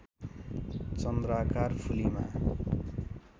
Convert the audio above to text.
चन्द्राकार फुलीमा